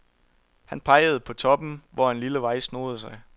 Han pegede op på toppen, hvor en lille vej snoede sig.